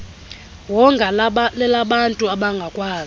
wonga lelabantu abangakwazi